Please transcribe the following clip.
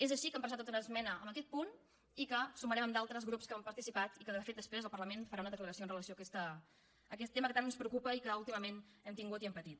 és així que hem presentat una esmena en aquest punt i que sumarem amb d’altres grups que hi han participat i que de fet després el parlament farà una declaració amb relació a aquest tema que tant ens preocupa i que últimament hem tingut i hem patit